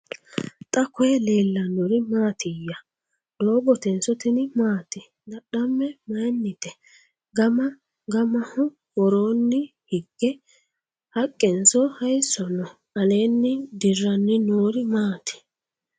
Xa koye leelannori maattiya? Doogottenso tinni maati? Dadhame mayiinnite? Gama gamaho woroonni higge haqqenso hayiisso noo? Alenni diranni noori maatti?